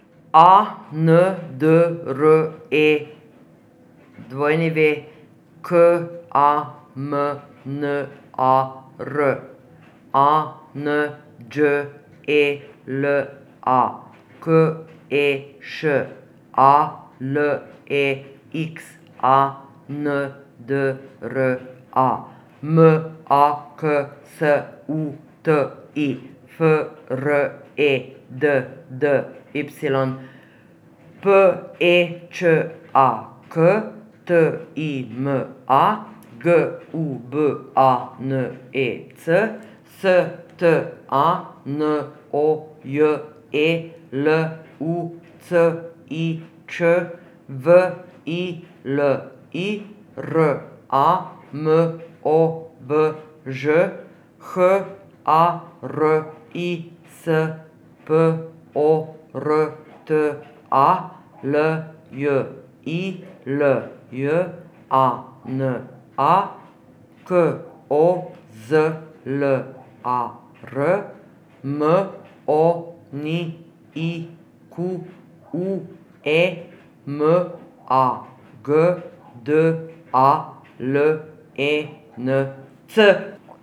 A N D R E W, K A M N A R; A N Đ E L A, K E Š; A L E X A N D R A, M A K S U T I; F R E D D Y, P E Č A K; T I M A, G U B A N E C; S T A N O J E, L U C I Ć; V I L I, R A M O V Ž; H A R I S, P O R T A; L J I L J A N A, K O Z L A R; M O N I Q U E, M A G D A L E N C.